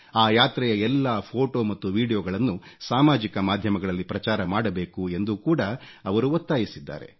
ಆ ಯಾತ್ರೆಯ ಎಲ್ಲಾ ಫೋಟೋ ಮತ್ತು ವೀಡಿಯೊಗಳನ್ನು ಸಾಮಾಜಿಕ ಮಾಧ್ಯಮಗಳಲ್ಲಿ ಪ್ರಚಾರ ಮಾಡಬೇಕು ಎಂದು ಕೂಡ ಅವರು ಒತ್ತಾಯಿಸಿದ್ದಾರೆ